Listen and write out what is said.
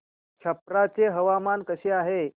छप्रा चे हवामान कसे आहे